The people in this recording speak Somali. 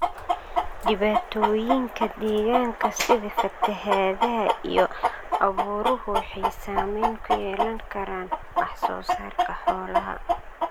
Dhibaatooyinka deegaanka sida fatahaadaha iyo abaaruhu waxay saamayn ku yeelan karaan wax soo saarka xoolaha.